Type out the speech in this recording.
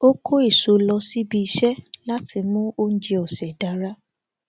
ó kó èso lọ síbi iṣé láti mú oúnjẹ ọsẹ dára